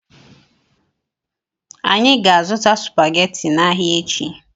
Anyị ga- azụta supaghetti n'ahia echi.